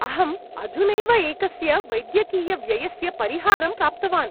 अहं अधुनैव एकस्य वैद्यकीयव्ययस्य परिहारं प्राप्तवान्।